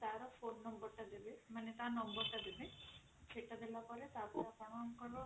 ତାର code number ଟା ଦେବେ ମାନେ ତା number ଟା ଦେବେ ସେଇଟା ଦେଲା ପରେ ଆପଣଙ୍କର